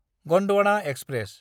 Gondwana express